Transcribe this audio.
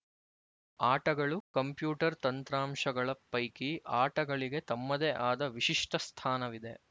ಆಟಗಳು ಕಂಪ್ಯೂಟರ್ ತಂತ್ರಾಂಶಗಳ ಪೈಕಿ ಆಟಗಳಿಗೆ ತಮ್ಮದೇ ಆದ ವಿಶಿಷ್ಟ ಸ್ಥಾನವಿದೆ